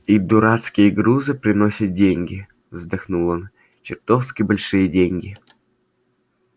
их дурацкие грузы приносят деньги вздохнул он чертовски большие деньги